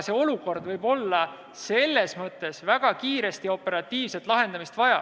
See olukord võib olla väga kiiresti ja operatiivselt lahendamist vajav.